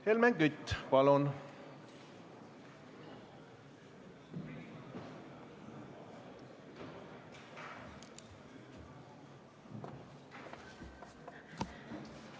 Helmen Kütt, palun!